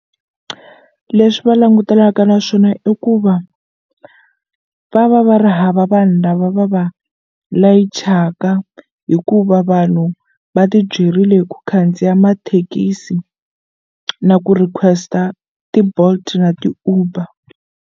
Leswi va langutanaka na swona i ku va va va va ri hava vanhu lava va va layichaka hikuva vanhu va ti byerile hi ku khandziya mathekisi na ku request-a ti-Bolt na ti-Uber.